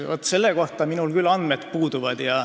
Vaat selle kohta mul andmed puuduvad.